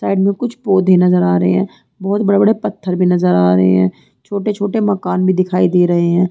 Side में कुछ पौधे नजर आ रहे हैं बहुत बड़े-बड़े पत्थर भी नजर आ रहे हैं छोटे-छोटे मकान भी दिखाई दे रहे हैं।